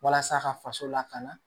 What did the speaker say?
Walasa ka faso lakana